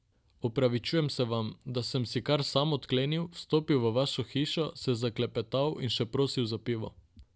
Opravičujem se vam, da sem si kar sam odklenil, vstopil v vašo hišo, se zaklepetal in še prosil za pivo.